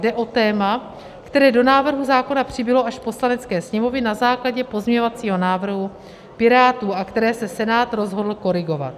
Jde o téma, které do návrhu zákona přibylo až v Poslanecké sněmovně na základě pozměňovacího návrhu Pirátů a které se Senát rozhodl korigovat.